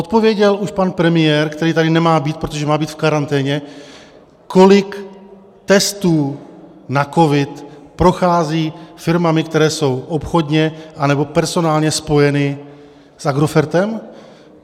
Odpověděl už pan premiér, který tady nemá být, protože má být v karanténě, kolik testů na covid prochází firmami, které jsou obchodně anebo personálně spojeny s Agrofertem?